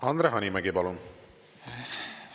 Andre Hanimägi, palun!